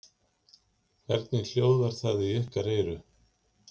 Hvernig hljóðar það í ykkar eyru?